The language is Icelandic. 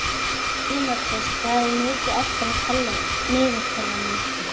Tímoteus, hvað er mikið eftir af niðurteljaranum?